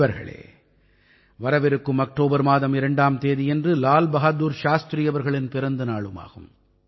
நண்பர்களே வரவிருக்கும் அக்டோபர் மாதம் 2ஆம் தேதியன்று லால் பஹாதுர் சாஸ்திரி அவர்களின் பிறந்த நாளுமாகும்